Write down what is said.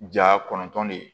Ja kɔnɔntɔn de ye